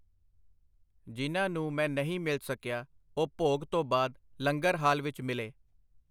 ਜਿਨ੍ਹਾ ਨੂੰ ਮੈਂ ਨਹੀਂ ਮਿਲ ਸਕਿਆ ਉਹ ਭੋਗ ਤੋਂ ਬਾਹਦ ਲੰਗਰ ਹਾਲ ਵਿੱਚ ਮਿਲੇ.